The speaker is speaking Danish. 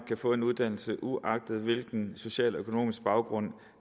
kan få en uddannelse uagtet hvilken social og økonomisk baggrund